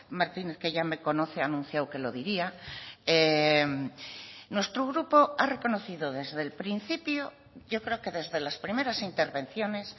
martínez que ya me conoce ha anunciado que lo diría nuestro grupo ha reconocido desde el principio yo creo que desde las primeras intervenciones